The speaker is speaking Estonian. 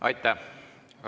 Aitäh!